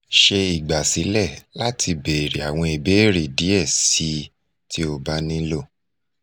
ṣe igbasilẹ lati beere awọn ibeere diẹ sii ti o ba nilo